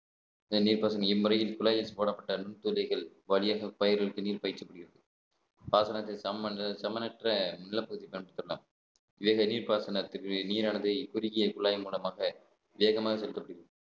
இந்த நீர்ப்பாசம் இம்முறையில் குழாய் வெச்சு போடப்பட்ட நுண் துரைகள் வழியாக பயிர்களுக்கு நீர் பாய்ச்சப்படுகிறது பாசனத்துக்கு சமன~ சமனற்ற நீர் பாசனத்திற்கு நீரானது இக்குறுகிய குழாய் மூலமாக வேகமாக செலுத்தப்படுகிறது